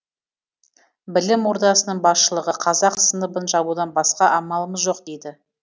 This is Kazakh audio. білім ордасының басшылығы қазақ сыныбын жабудан басқа амалымыз жоқ дейді